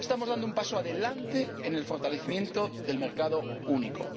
Estamos dando un paso adelante en el fortalecimiento del mercado único.